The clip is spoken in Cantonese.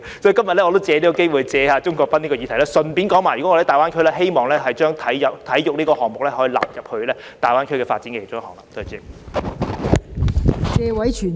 所以，我今天亦藉此機會，就鍾國斌議員的議案發言，談論我們希望把體育項目納入大灣區發展。